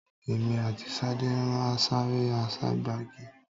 Èmi àti Sade n sare àságbagi